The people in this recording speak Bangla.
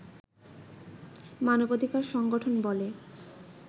মানবাধিকার সংগঠন বলে